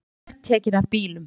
Númer tekin af bílum